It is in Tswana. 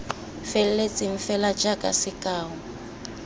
feletseng fela jaaka sekao l